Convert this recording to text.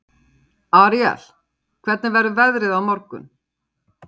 Aríel, hvernig verður veðrið á morgun?